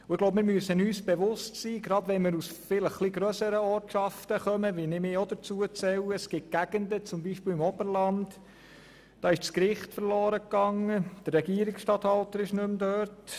Gerade wenn wir aus grösseren Ortschaften stammen – dazu zähle ich mich auch –, müssen wir uns bewusst sein, dass es im ländlichen Raum wie zum Beispiel im Oberland Gegenden gibt, welchen das Gericht verloren gegangen ist, und auch der Regierungsstatthalter ist nicht mehr dort.